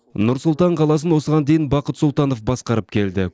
нұр сұлтан қаласын осыған дейін бақыт сұлтанов басқарып келді